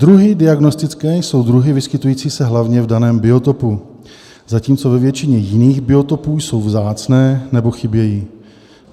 Druhy diagnostické jsou druhy vyskytující se hlavně v daném biotopu, zatímco ve většině jiných biotopů jsou vzácné nebo chybějí.